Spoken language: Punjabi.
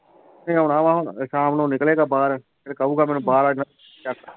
ਨਹੀਂ ਆਉਣਾ ਵਾਂ ਹੁਣ ਸ਼ਾਮ ਨੂੰ ਨਿਕਲੇਗਾ ਬਾਹਰ ਫਿਰ ਕਹੇਗਾ ਮੈਨੂੰ ਬਾਹਰ